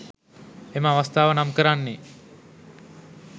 එම අවස්ථාව නම් කරන්නේ